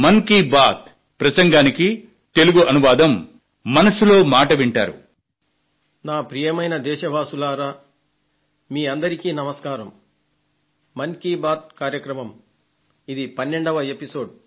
మన్ కీ బాత్ మనసులో మాట కార్యక్రమంలో ఇది 12వ సంచిక